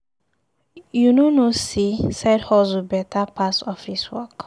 You no know sey side hustle beta pass office work.